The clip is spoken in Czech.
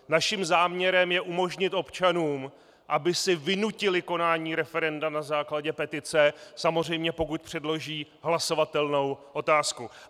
Naším záměrem je umožnit občanům, aby si vynutili konání referenda na základě petice, samozřejmě pokud předloží hlasovatelnou otázku.